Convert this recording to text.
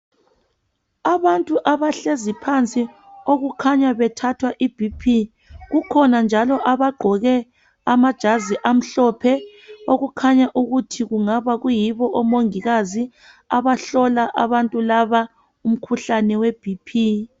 Abantu abahlezi phansi okukhanya bethathwa i 'BP', kukhona njalo abagqoke amajazi amhlophe okukhanya ukuthi kungaba kuyibo omungikazi abahlola abantu laba umkhuhlane we'BP '.